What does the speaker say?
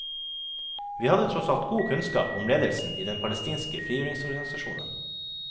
Vi hadde tross alt god kunnskap om ledelsen i den palestinske frigjøringsorganisasjonen.